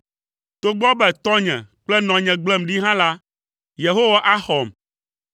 Togbɔ be tɔnye kple nɔnye gblem ɖi hã la, Yehowa axɔm.